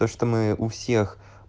то что мы у всех